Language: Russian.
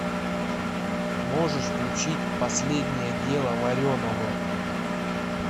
можешь включить последнее дело вареного